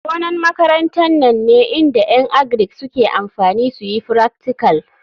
Gonan makaranta nan ne inda en agric suke amfani suyi fractical.